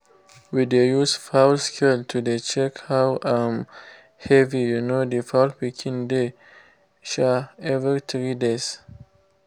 we dey use fowl scale to dey check how um heavy um the fowl pikin dey um every three days